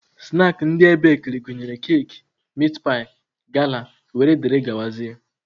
Snaakị ndị ebekiri gụnyere keki, mitpaị, gala wdg.